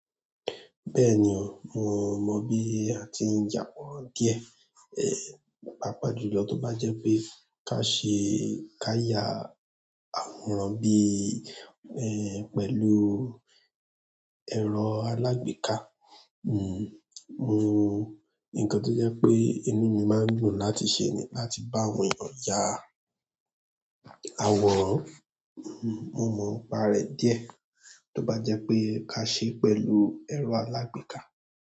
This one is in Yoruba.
Bẹ́ẹ̀ni o, mo mo bi a ti n ya àwòrán díẹ̀ ehn, pàápàá jùlọ tó bá jẹ́ pé ká ṣe, ká ya àwòrán bí, ehn, pẹ̀lú ẹ̀rọ alágbèéká. N-n nǹkan tó jẹ́ pé inú mi máa ń dùn láti ṣe ni láti bá àwọn èèyàn ya àwòrán. N-n mo npa rẹ̀ díẹ̀ tó bá jẹ́ pé ká ṣe pẹ̀lú ẹ̀rọ alágbèéká.